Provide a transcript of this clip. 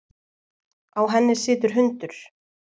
Á henni situr hundur.